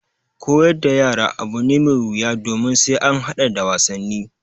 Koyar da yara abu ne mai wuya domin sai an haɗa da wasanni.